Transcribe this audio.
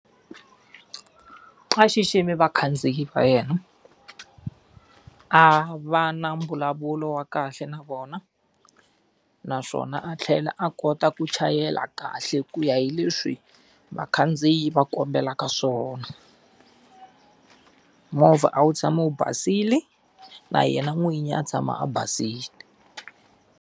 A xiximi vakhandziyi va yena, a va na mbulavulo wa kahle na vona, naswona a tlhela a kota ku chayela kahle ku ya hi leswi vakhandziyi va kombelaka swona. Movha a wu tshame wu basile na yena n'winyi a tshama a basile.